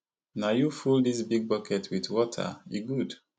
na you full dis big bucket with water e good